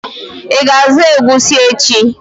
Ị ga azụ egusi echi?